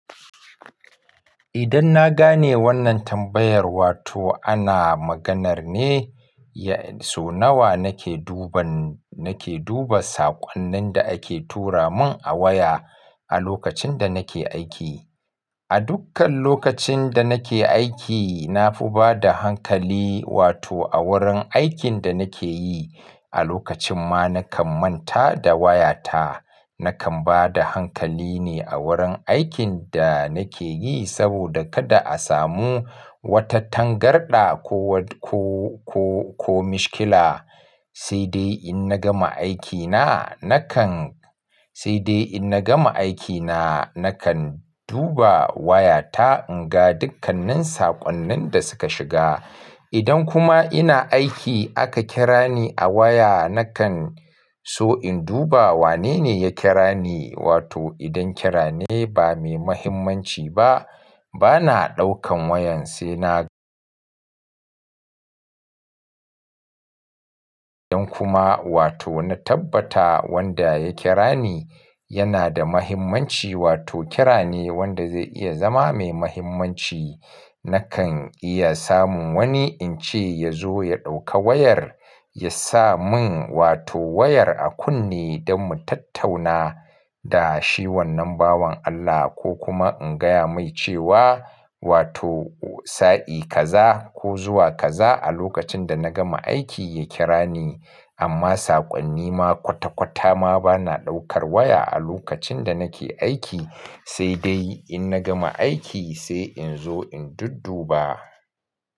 Idan na gane wannan tambayar, wato ana maganar ne so nawa nake duban, nake duba saƙonnin da ake tura mun a waya a lokacin da nake aiki. A dukkan lokacin da nake aiki, na fi bada hankali wato a wurin aikin da nake yi. A lokacin ma nakan manta da wayata. Nakan bada hankali ne a wurin aikin da nake yi saboda kada a samu wata tangarɗa ko, ko, ko, ko mishkila. Sai dai in na gama aikina, nakan, sai dai in na gama aikina nakan duba wayata in ga dukkanin saƙonnin da suka shiga. Idan kuma ina aiki aka kira ni a waya nakan so in duba wanene ya kira ni. Wato idan kira ne ba mai mahimmanci ba, bana ɗaukan wayan sai na idan kuma wato na tabbata wanda ya kira ni yana da muhimmanci wato kira ne wanda zai iya zama mai muhimmanci, nakan iya samun wani ince yazo ya dauka wayar yasa mun wato wayar a kunne dan mu tattauna da shi wannan bawon Allah ko kuma in gaya mai cewa wato sa'i kaza ko zuwa kaza a lokacin da na gama aiki ya kira ni. Amma saƙonni ma kwata kwata ma bana ɗaukar waya a lokacin da nake aiki. Sai dai in na gama aiki sai in zo in dudduba.